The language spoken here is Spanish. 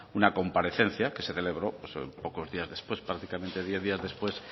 una comparecencia que se celebró pocos días después prácticamente diez días después